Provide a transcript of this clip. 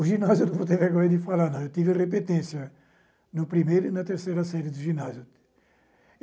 O ginásio, não vou ter vergonha de falar não, eu tive repetência no primeiro e na terceira série do ginásio.